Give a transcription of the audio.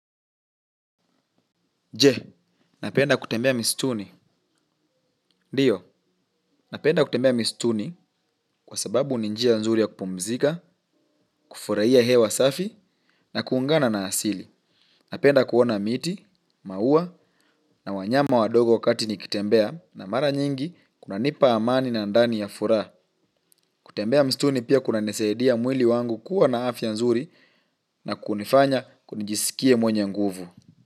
Je, napenda kutembea misituni. Ndiyo, napenda kutembea misituni kwa sababu ni njia nzuri ya kupumzika, kufurahia hewa safi na kuungana na asili. Napenda kuona miti, maua na wanyama wadogo wakati nikitembea na mara nyingi kunanipa amani na ndani na furaha. Kutembea misituni pia kunanisaidia mwili wangu kuwa na afya nzuri na kunifanya nijisikie mwenye nguvu.